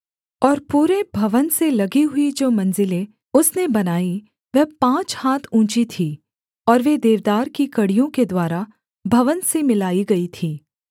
और पूरे भवन से लगी हुई जो मंजिलें उसने बनाईं वह पाँच हाथ ऊँची थीं और वे देवदार की कड़ियों के द्वारा भवन से मिलाई गई थीं